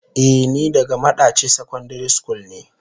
Eh ni daga madaci secondary school ne.